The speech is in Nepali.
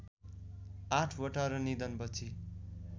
आठवटा र निधनपछि